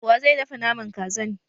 Wa zai dafa Naman Kazan?